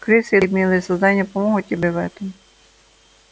крысы и милые создания помогут тебе в этом